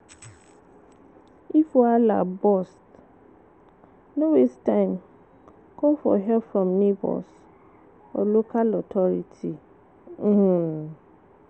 If wahala burst, no waste time call for help from neigbours or local authority um